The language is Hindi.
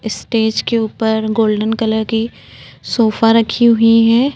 स्टेज के ऊपर गोल्डन कलर की सोफा रखी हुई है।